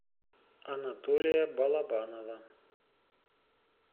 анатолия балабанова